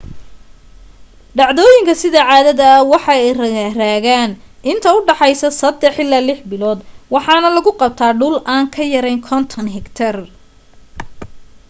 dhacdooyinka sida caadada waxa ay raagan inta udhaxeysa saddex ilaa lix bilood waxaana lagu qabta dhul aan ka yareyn 50 hektar